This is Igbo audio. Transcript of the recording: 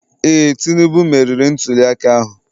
Ee, Tinubu meriri ntuliaka ahụ